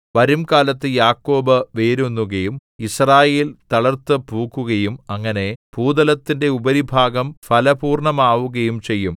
വരുംകാലത്ത് യാക്കോബ് വേരൂന്നുകയും യിസ്രായേൽ തളിർത്തുപൂക്കുകയും അങ്ങനെ ഭൂതലത്തിന്റെ ഉപരിഭാഗം ഫലപൂർണ്ണമാവുകയും ചെയ്യും